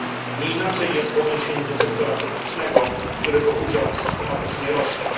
Nie inaczej jest w odniesieniu do sektora publicznego, którego udział systematycznie rośnie.